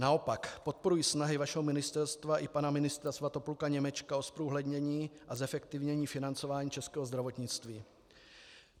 Naopak podporuji snahy vašeho ministerstva i pana ministra Svatopluka Němečka o zprůhlednění a zefektivnění financování českého zdravotnictví.